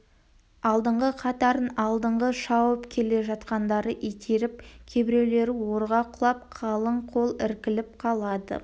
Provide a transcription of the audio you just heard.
алдыңғы қатарын артындағы шауып келе жатқандары итеріп кейбіреулері орға құлап қалың қол іркіліп қалады